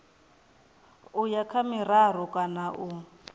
uya kha miraru kana u